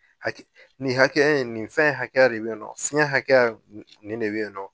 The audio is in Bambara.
Haki nin hakɛya in nin fɛn hakɛ de be yen nɔ fiɲɛ hakɛya nin nin de be yen nɔ